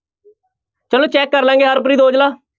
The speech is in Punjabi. ਚਲੋ check ਕਰ ਲਵਾਂਗੇ ਹਰਪ੍ਰੀਤ ਓਜਲਾ।